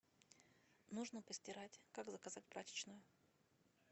нужно постирать как заказать прачечную